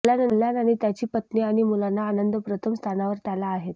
कल्याण आणि त्याची पत्नी आणि मुलांना आनंद प्रथम स्थानावर त्याला आहेत